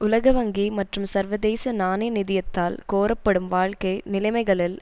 உலக வங்கி மற்றும் சர்வதேச நாணய நிதியத்தால் கோரப்படும் வாழ்க்கை நிலைமைகளில்